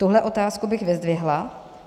Tuhle otázku bych vyzdvihla.